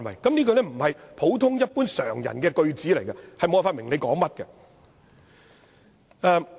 這樣的草擬方式不是普通一般常人能理解，是無法明白當中意思。